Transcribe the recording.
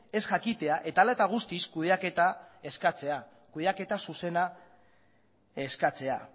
ez jakitea eta hala eta guztiz ere kudeaketa zuzena eskatzea